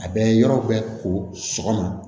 A bɛ yɔrɔ bɛɛ ko sɔgɔma